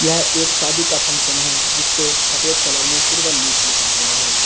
यह एक शादी का फंक्शन है जिसपे सफेद कलर में सिल्वर लीफ लिखा हुआ है।